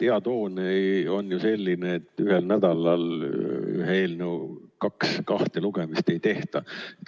Hea toon on ju selline, et ühel nädalal ühe eelnõu kahte lugemist ei tehta.